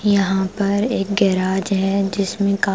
यहां पर एक गैराज है जिसमें का--